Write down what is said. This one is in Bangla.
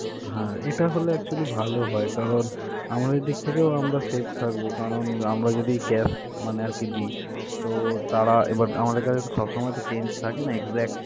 হ্যা, এটা হলে actually ভালো হয় কারণ আমাদের দিক থেকেও আমরা safe থাকব কারণ আমরা যদি cash মানে আরকি দেই তো তারা এবার আমাদের কাছে তো সব সময় তো change থাকে না. exact.